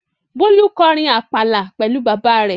Bólú kọrin àpàlà pẹ̀lú bàbá rẹ̀.